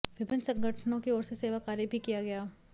विभिन्न संगठनों की ओर से सेवा कार्य भी किया गया